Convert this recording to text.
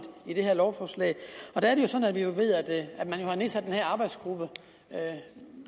i det her lovforslag og der er det jo sådan at vi ved at man har nedsat den her arbejdsgruppe